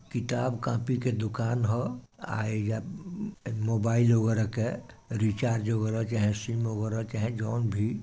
किताब - कॉपी के दुकान ह अ या मोबाईल वगेरा के रिचार्ज होला चाहे सिम होला चाहे जोन भी।